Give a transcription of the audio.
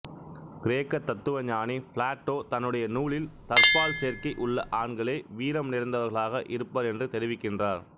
கிரேக்க தத்துவ ஞானி பிளாட்டோ தன்னுடைய நூலில் தற்பால்சேர்க்கை உள்ள ஆண்களே வீரம்நிறைந்தவர்களாக இருப்பர் என்று தெரிவிக்கின்றார்